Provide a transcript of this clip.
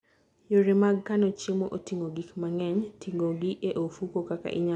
Yore mag kano chiemo: Oting'o gik mang'eny, ting'ogi e ofuko, kaka inyalo kano chiemo maber.